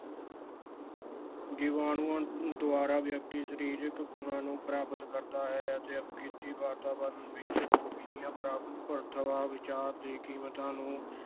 ਜੀਵਾਣੂਆਂ ਦੁਆਰਾ ਵਿਅਕਤੀ ਸਰੀਰਕ ਗੁਣਾਂ ਨੂੰ ਪ੍ਰਾਪਤ ਕਰਦਾ ਹੈ ਅਤੇ ਅਪ੍ਰਕ੍ਰਿਤਕ ਵਾਤਾਵਰਣ ਵਿੱਚ ਉਹ ਵਿਧੀਆ, , ਵਿਚਾਰ ਦੀਆਂ ਕੀਮਤਾਂ ਨੂੰ